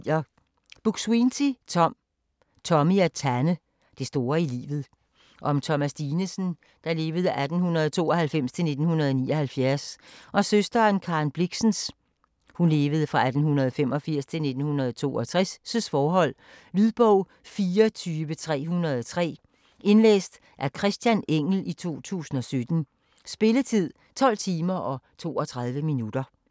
Buk-Swienty, Tom: Tommy og Tanne: det store i livet Om Thomas Dinesen (1892-1979) og søsteren Karen Blixens (1885-1962) forhold. Lydbog 44303 Indlæst af Christian Engell, 2017. Spilletid: 12 timer, 32 minutter.